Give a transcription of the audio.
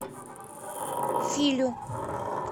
филю